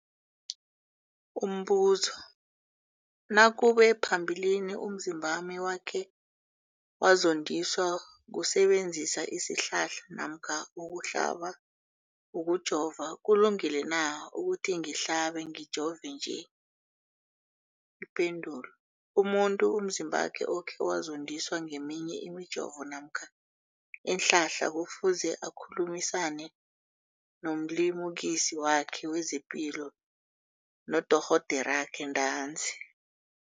Umbuzo, nakube phambilini umzimbami wakhe wazondiswa kusebenzisa isihlahla namkha ukuhlaba, ukujova, kulungile na ukuthi ngihlabe, ngijove nje? Ipendulo, umuntu umzimbakhe okhe wazondiswa ngeminye imijovo namkha iinhlahla kufuze akhulumisane nomlimukisi wakhe wezepilo, nodorhoderakhe ntanzi.